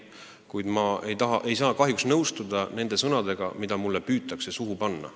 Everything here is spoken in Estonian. Kuid ma ei saa kahjuks nõustuda nende sõnadega, mida mulle püütakse suhu panna.